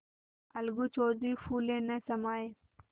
अलगू चौधरी फूले न समाये